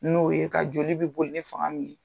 N'o ye ka joli bɛ boli ni fanga min ye.